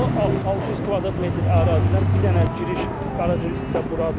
O 600 kvadrat metr ərazidən bir dənə giriş qaraj hissə buradır.